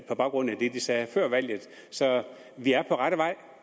på baggrund af det de sagde før valget vi er på rette vej